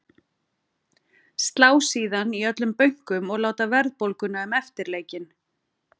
Slá síðan í öllum bönkum og láta verðbólguna um eftirleikinn.